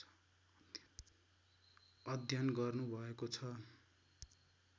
अध्ययन गर्नुभएको छ